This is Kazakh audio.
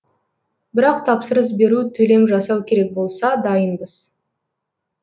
бірақ тапсырыс беру төлем жасау керек болса дайынбыз